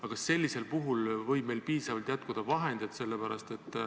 Aga kas sellisel juhul võib meil jätkuda piisavalt vahendeid?